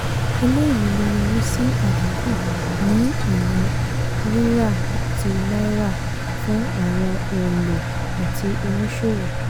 eléyìí lè yọrí sí àdínkù ní iná rírà ti náírà fún àwọn òǹlò àti oníṣòwò.